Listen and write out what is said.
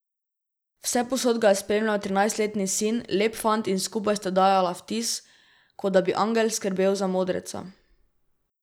Vsepovsod ga je spremljal trinajstletni sin, lep fant, in skupaj sta dajala vtis, kot da bi angel skrbel za modreca.